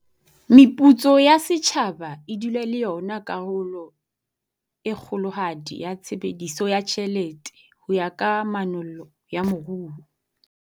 Meputso ya setjhaba e dula e le yona karolo e kgolohadi ya tshebediso ya tjhelete ho ya ka manollo ya moruo.